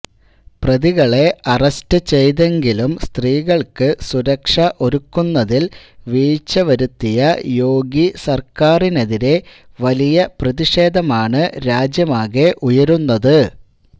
പ്രതികളെ അറസ്റ്റ് ചെയ്തെങ്കിലും സ്ത്രീകള്ക്ക് സുരക്ഷ ഒരുക്കുന്നതില് വീഴ്ച വരുത്തിയ യോഗി സര്ക്കാരിനെതിരെ വലിയ പ്രതിഷേധം ആണ് രാജ്യമാകെ ഉയരുന്നത്